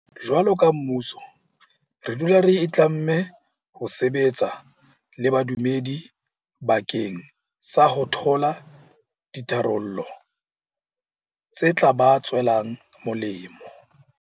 Jwaloka mmuso re dula re itlamme ho sebetsa le badumedi bakeng sa ho thola ditharollo tse tla ba tswelang molemo.